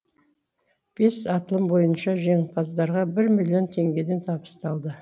бес атылым бойынша жеңімпаздарға бір миллион теңгеден табысталды